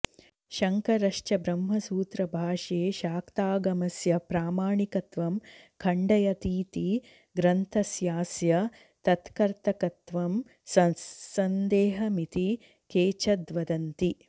शङ्करश्च ब्रह्मसूत्रभाष्ये शाक्तागमस्य प्रामाणिकत्वं खण्डयतीति ग्रन्थस्यास्य तत्कर्तकत्वं ससन्देहमिति केचिद्वदन्ति